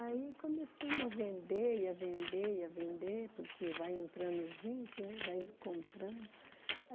Aí começamos a vender, e a vender, e a vender, porque vai entrando gente, né, vai comprando.